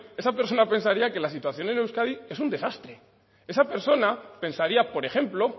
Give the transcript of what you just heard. esa persona pensaría que la situación en euskadi es un desastre esa persona pensaría por ejemplo